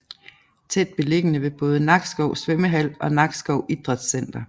Tæt beliggende ved både Nakskov Svømmehal og Nakskov Idrætscenter